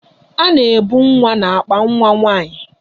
A na-ebu nwa n'akpa nwa nwaanyị.